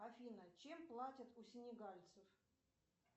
афина чем платят у сенегальцев